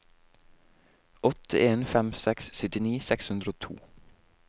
åtte en fem seks syttini seks hundre og to